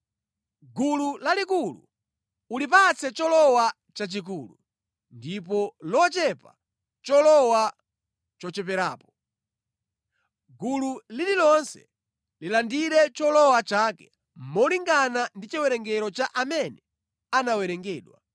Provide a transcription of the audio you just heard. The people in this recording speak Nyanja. Gulu lalikulu ulipatse cholowa chachikulu, ndipo lochepa cholowa chocheperapo. Gulu lililonse lilandire cholowa chake molingana ndi chiwerengero cha amene anawerengedwa.